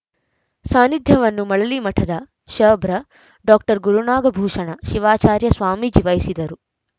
ಸಾನ್ನಿಧ್ಯವನ್ನು ಮಳಲಿಮಠದ ಷಬ್ರ ಡಾಕ್ಟರ್ ಗುರುನಾಗಭೂಷಣ ಶಿವಾಚಾರ್ಯ ಸ್ವಾಮೀಜಿ ವಹಿಸುವರು